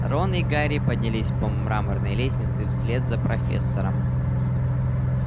рон и гарри поднялись по мраморной лестнице вслед за профессором